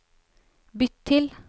bytt til